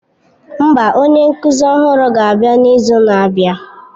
Mba, onye nkuzi ọhụrụ ga-abịa n'izu na-abịa